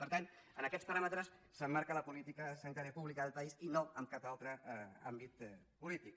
per tant en aquests paràmetres s’emmarca la política sanitària pública del país i no en cap altre àmbit polític